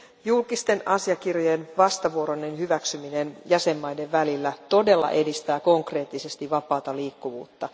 Julkisten asiakirjojen vastavuoroinen hyväksyminen jäsenmaiden välillä todella edistää konkreettisesti vapaata liikkuvuutta.